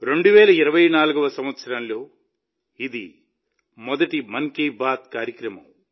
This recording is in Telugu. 2024 సంవత్సరంలో ఇది మొదటి మన్ కీ బాత్ కార్యక్రమం